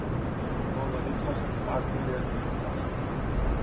Na volitvah spopad ni le za oblast.